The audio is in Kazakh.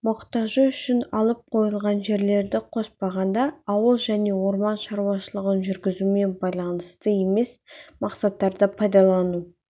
мұқтажы үшін алып қойылған жерлерді қоспағанда ауыл және орман шаруашылығын жүргізумен байланысты емес мақсаттарда пайдалану